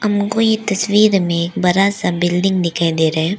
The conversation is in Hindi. हमको इ तस्वीर में एक बड़ा सा बिल्डिंग दिखाई दे रहा है।